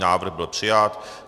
Návrh byl přijat.